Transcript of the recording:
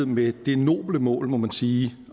med det noble mål må man sige